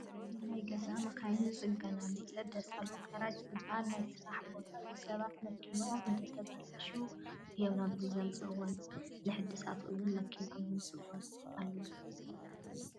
እዚ ናይ ገዛ መኻይን ዝፅገናሉን ዝሕደሳሉን ጋራጅ ዝበሃል ናይ ስራሕ ቦታ እዩ፡፡ ሰባት መኪንኦም እንትትበላሾ እዮም ናብዚ ዘምፅእዋ፡፡ ንሕድሳት እውን መኪንኦም ዘምፅኡ ኣለዉ፡፡